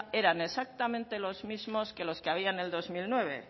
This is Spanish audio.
eran exactamente los mismos que los que había en el dos mil nueve